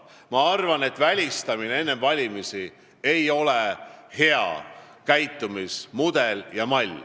Ma arvan, et välistamine ei ole enne valimisi hea käitumismudel ja -mall.